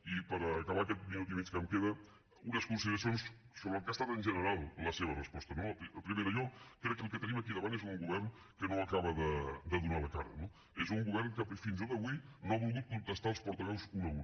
i per acabar aquest minut i mig que em queda unes consideracions sobre el que ha estat en general la seva resposta no primera jo crec que el que tenim aquí davant és un govern que no acaba de donar la cara no és un govern que fins i tot avui no ha volgut contestar els portaveus un a un